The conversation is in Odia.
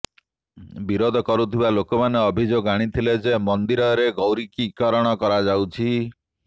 ବିରୋଧ କରୁଥିବା ଲୋକମାନେ ଅଭିଯୋଗ ଆଣିଥିଲେ ଯେ ମନ୍ଦିରର ଗୈରିକୀକରଣ କରାଯାଉଛି